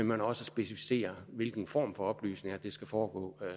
man også specificerer hvilken form for oplysning altså at det skal foregå